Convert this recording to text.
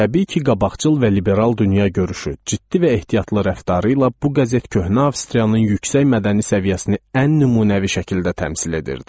Təbii ki, qabaqcıl və liberal dünyagörüşü, ciddi və ehtiyatlı rəftarı ilə bu qəzet köhnə Avstriyanın yüksək mədəni səviyyəsini ən nümunəvi şəkildə təmsil edirdi.